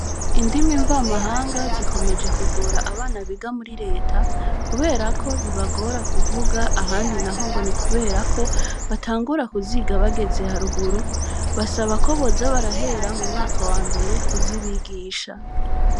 Indimi mvamahanga zikomeje kugora abana biga muri leta, kubera ko bibagora kuvuga, ahandi naho ngo ni kubera ko batangura kuziga bageze haruguru; basaba ko boza barahera mu mwaka wa mbere kuzibigisha.